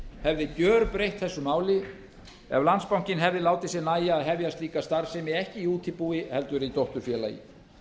hefði gjörbreytt þessu máli ef landsbankinn hefði látið sér nægja að hefja slíka starfsemi ekki í útibúi heldur í dótturfélagi